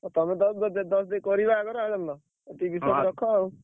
ଆଉ ତମେ ଦଶ ଦଶ ଦେଇ କରିବା ଆଗର ଆଉ ଜାଣିଲ ଏତିକି ବିଶ୍ବାସ ରଖ ଆଉ।